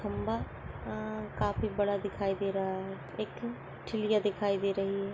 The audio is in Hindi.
खम्बा अ काफी बड़ा दिखाई दे रहा है। एक चिड़िया दिखाई दे रही है।